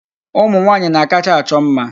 Ụmụ nwaanyị na-akacha achọ mma.